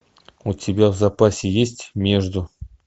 у тебя в запасе есть между